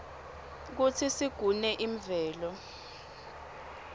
kutsi sigune imvelo